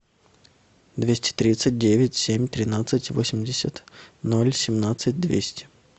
двести тридцать девять семь тринадцать восемьдесят ноль семнадцать двести